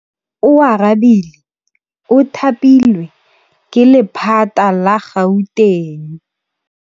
Oarabile o thapilwe ke lephata la Gauteng.